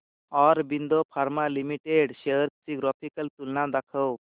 Aurobindo pharma limited shares ची graphical तुलना दाखव